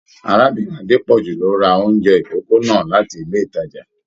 Arábìnrin Adepoju ló rà oúnjẹ ikòkò náà láti ilé ìtàjà.